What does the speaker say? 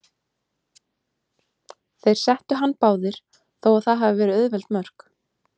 Þeir settu hann báðir, þó að það hafi verið auðveld mörk.